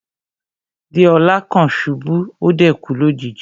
Deola kan ṣubu, o dẹ̀ kú lójijì.